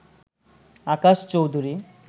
Akash Chowdhury